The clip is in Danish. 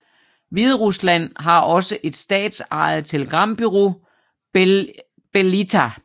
Hviderusland har også et statsejet telegrambureau BelITA